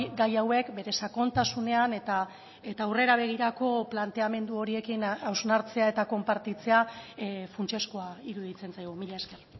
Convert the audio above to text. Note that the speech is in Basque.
gai hauek bere sakontasunean eta aurrera begirako planteamendu horiekin hausnartzea eta konpartitzea funtsezkoa iruditzen zaigu mila esker